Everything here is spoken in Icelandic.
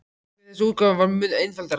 En hve þessi útgáfa var mun einfaldari!